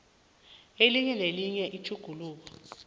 elinye nelinye itjhuguluko